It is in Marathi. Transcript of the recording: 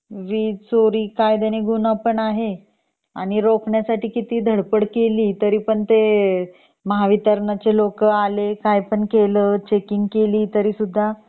वीज चोरी कायद्याने गुन्हा पण आहे आणि रोखण्यासाठी किती पण धडपड केली तरी पण ते महावित्रणाचे लोक आले काय पण केला चेकिंग केली सुद्धा